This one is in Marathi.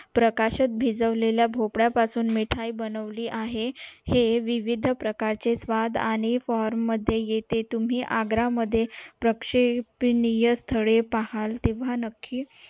पाकात भिजवलेला भोपळा पासून मिठाई बनवली जाते हे विविध प्रकारचे स्वाद आणि मध्ये येते तुम्ही आग्रा मध्ये प्रेक्षपनीय स्थळे पाहाल तेव्हा नक्की